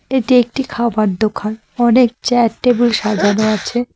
এটি একটি খাবার দোকান অনেক চেয়ার টেবিল সাজানো আছে।